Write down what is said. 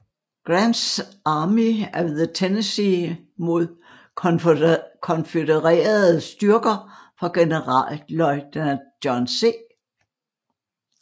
Grants Army of the Tennessee mod konfødererede styrker fra generalløjtnant John C